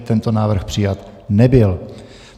Tento návrh přijat nebyl.